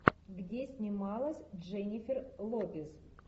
где снималась дженнифер лопес